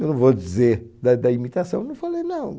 Eu não vou dizer da da imitação, não falei não.